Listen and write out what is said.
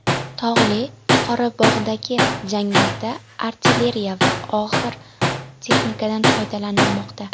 Tog‘li Qorabog‘dagi janglarda artilleriya va og‘ir texnikadan foydalanilmoqda .